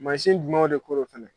Mansin jumɛnw de ko don fana